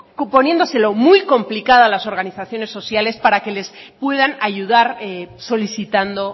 poniéndoselo muy complicada a las organizaciones sociales para que les puedan ayudar solicitando